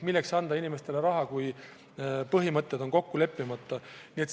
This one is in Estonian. Milleks anda inimestele raha, kui põhimõtted on kokku leppimata?